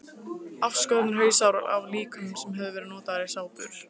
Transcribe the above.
Afskornir hausar af líkömum sem höfðu verið notaðir í sápur.